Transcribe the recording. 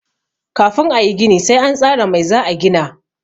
Kafin a yi gini sai an tsara mai za a gina.